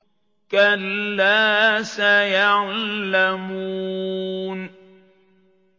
كَلَّا سَيَعْلَمُونَ